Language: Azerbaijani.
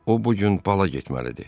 O bu gün pala getməlidir.